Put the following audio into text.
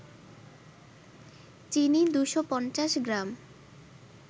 চিনি ২৫০ গ্রাম